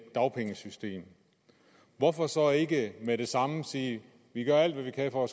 dagpengesystem hvorfor så ikke med det samme sige vi gør alt hvad vi kan for at